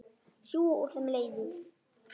Sjúga úr þeim lífið.